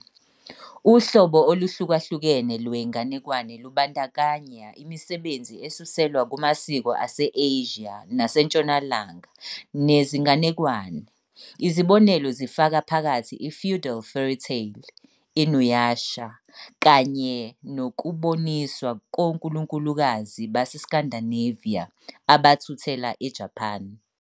Uhlobo oluhlukahlukene lwenganekwane lubandakanya imisebenzi esuselwa kumasiko ase-Asia nawaseNtshonalanga nezinganekwane, izibonelo zifaka phakathi i-feudal fairytale "InuYasha", kanye nokuboniswa konkulunkulukazi baseScandinavia abathuthela eJapan